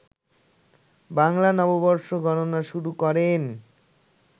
বাংলা নববর্ষ গণনা শুরু করেন